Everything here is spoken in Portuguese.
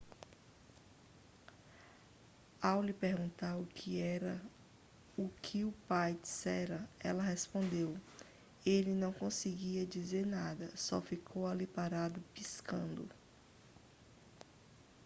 ao lhe perguntarem o que o pai dissera ela respondeu ele não conseguia dizer nada só ficou ali parado piscando